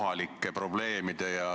Aitäh!